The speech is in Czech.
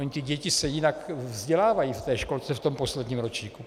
Ony ty děti se jinak vzdělávají v té školce, v tom posledním ročníku.